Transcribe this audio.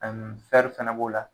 ƐƐ fɛnɛ b'o la